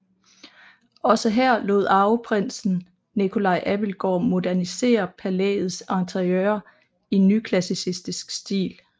Også her lod arveprinsen Nicolai Abildgaard modernisere palæets interiører i nyklassicistisk stil